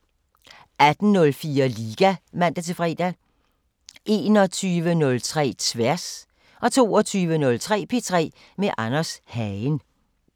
18:04: Liga (man-fre) 21:03: Tværs 22:03: P3 med Anders Hagen